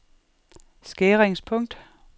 skæringspunkt